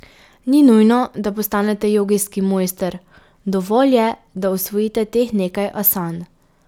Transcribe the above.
Ni nujno, da postanete jogijski mojster, dovolj je, da usvojite teh nekaj asan.